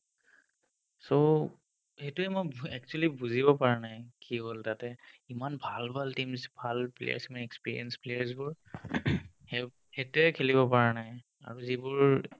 so, সেটোয়ে মই actually বুজি পোৱা নাই কি হ'ল তাতে ইমান ভাল ভাল teams ভাল players experience players বোৰ সে সেটোয়ে খেলিব পৰা নাই আৰু যিবোৰ